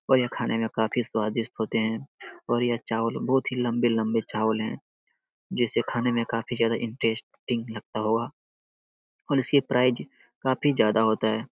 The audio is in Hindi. और यह खाने में काफी स्वादिष्ट होते हैं और यह चावल बहुत ही लंबे-लंबे चावल है जिसे खाने में काफी ज्यादा इंट्रेस्टिंग लगता होगा और इसके प्राइज काफी ज्यादा होता है।